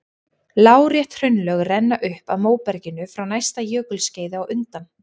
Lárétt hraunlög renna upp að móberginu frá næsta jökulskeiði á undan.